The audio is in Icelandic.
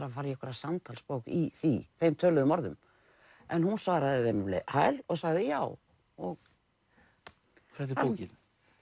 að fara í einhverja samtalsbók í þeim töluðu orðum en hún svaraði þeim um hæl og sagði já þetta er bókin